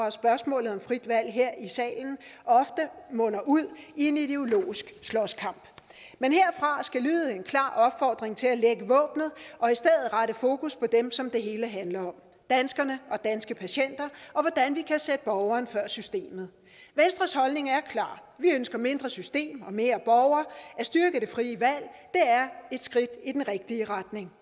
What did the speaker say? at spørgsmålet om frit valg her i salen ofte munder ud i en ideologisk slåskamp men herfra skal lyde en klar opfordring til at lægge våbnet og i stedet for rette fokus på dem som det hele handler om danskerne og danske patienter og hvordan vi kan sætte borgeren før systemet venstres holdning er klar vi ønsker mindre system og mere borger at styrke det frie valg er et skridt i den rigtige retning